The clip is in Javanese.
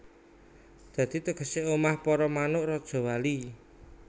Dadi tegesé omah para manuk rajawali